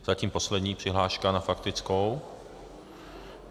Zatím poslední přihláška na faktickou.